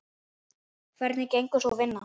Hvernig gengur sú vinna?